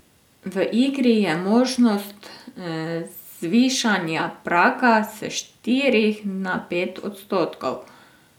V igri je možnost zvišanja praga s štirih na pet odstotkov.